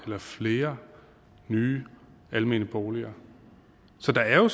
eller flere nye almene boliger så der er jo